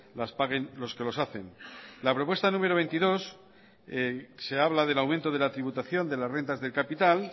las paguen los que los hacen en la propuesta número veintidós se habla del aumento de la tributación de las rentas de capital